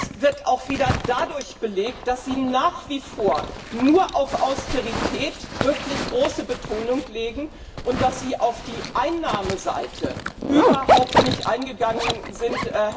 Das wird auch wieder dadurch belegt, dass Sie nach wie vor nur auf Austerität große Betonung legen und auf die Einnahmenseite überhaupt nicht eingegangen sind.